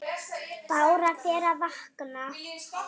Bára fer að vakna.